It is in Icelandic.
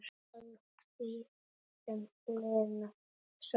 Að því sem Lena sagði.